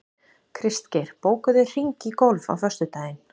Kristgeir, bókaðu hring í golf á föstudaginn.